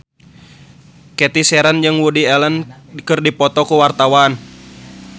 Cathy Sharon jeung Woody Allen keur dipoto ku wartawan